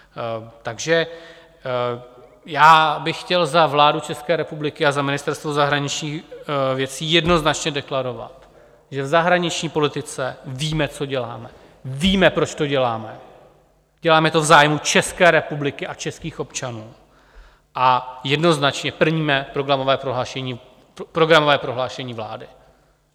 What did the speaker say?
Takže já bych chtěl za vládu České republiky a za Ministerstvo zahraničních věcí jednoznačně deklarovat, že v zahraniční politice víme, co děláme, víme, proč to děláme, děláme to v zájmu České republiky a českých občanů a jednoznačně plníme programové prohlášení vlády.